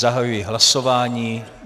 Zahajuji hlasování.